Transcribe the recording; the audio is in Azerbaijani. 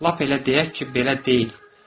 Lap elə deyək ki, belə deyil.